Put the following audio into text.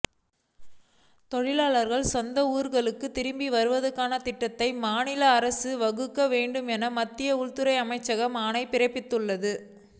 தொழிலாளர்கள் சொந்த ஊர்களுக்கு திரும்புவதற்கான திட்டத்தை மாநில அரசுகள் வகுக்க வேண்டும் என மத்திய உள்துறை அமைச்சகம் ஆணை பிறப்பித்துள்ளது